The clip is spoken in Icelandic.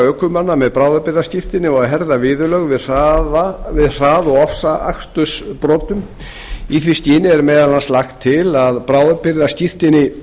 ökumanna með bráðabirgðaskírteini og að herða viðurlög við hrað og ofsaakstursbrotum í því skyni er í meðal annars lagt til að bráðabirgðaskírteini